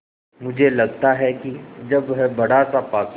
मुझे लगता है कि जब वह बड़ासा पासा